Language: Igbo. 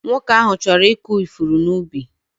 Nwoke ahụ chọrọ ịkụ ifuru n'ubi.